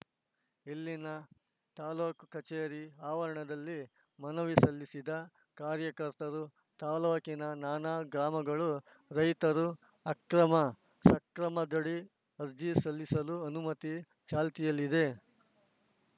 ಇಲ್ಲಿನ ತಾಲೂಕು ಕಚೇರಿ ಆವರಣದಲ್ಲಿ ಮನವಿ ಸಲ್ಲಿಸಿದ ಕಾರ್ಯಕರ್ತರು ತಾಲೂಕಿನ ನಾನಾ ಗ್ರಾಮಗಳ ರೈತರು ಅಕ್ರಮ ಸಕ್ರಮದಡಿ ಅರ್ಜಿ ಸಲ್ಲಿಸಲು ಅನುಮತಿ ಚಾಲ್ತಿಯಲ್ಲಿದೆ